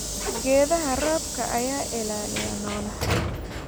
Geedaha roobka ayaa ilaaliya noolaha.